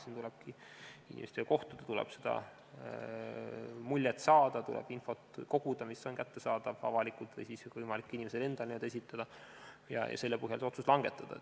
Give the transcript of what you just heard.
Siin tulebki inimestega kohtuda, tuleb muljet saada, tuleb koguda infot, mis on kättesaadav avalikult või siis on võimalik inimesel endal need esitada, ja selle põhjal see otsus langetada.